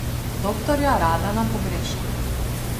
Doktorja Radana pogrešam.